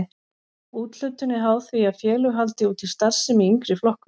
Úthlutun er háð því að félög haldi úti starfsemi í yngri flokkum.